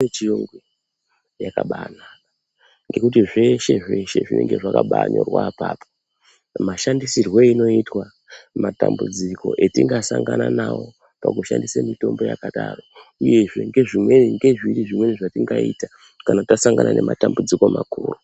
Mitombo yechiyungu yakabanaka ngekuti zveshe zveshe zvinenge zvakabanyorwa apapo mashandisirwe einoitwa matambudziko etingasangana nawo pakushandisa mitombo yakadaro uyezve ngezviri zvimweni zvatingaita kana tasangana nematambudziko makuru.